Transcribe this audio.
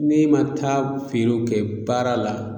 N'e ma taa feere kɛ baara la